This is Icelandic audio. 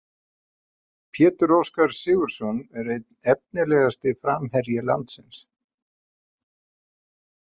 Pétur Óskar Sigurðsson er einn efnilegasti framherji landsins.